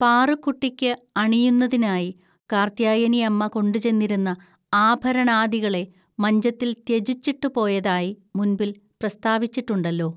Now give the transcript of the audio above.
പാറുക്കുട്ടിക്ക് അണിയുന്നതിനായി കാർത്ത്യായനിഅമ്മ കൊണ്ടുചെന്നിരുന്ന ആഭരണാദികളെ മഞ്ചത്തിൽ ത്യജിച്ചിട്ടുപോയതായി മുൻപിൽ പ്രസ്താവിച്ചിട്ടുണ്ടല്ലോ